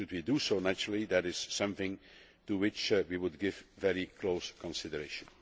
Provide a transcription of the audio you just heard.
Should we do so, naturally that is something to which we would give very close consideration.